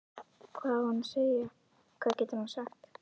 Hvað á hann að segja, hvað getur hann sagt?